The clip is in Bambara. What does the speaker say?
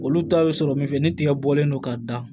Olu ta bɛ sɔrɔ min fɛ ni tigɛbɔlen don ka dan